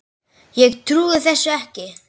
Ég trúi þessu ekki